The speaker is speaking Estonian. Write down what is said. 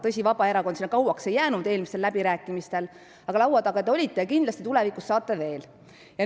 Tõsi, Vabaerakond sinna eelmistel läbirääkimistel kauaks ei jäänud, aga laua taga te olite ja kindlasti saate tulevikus seal veel olla.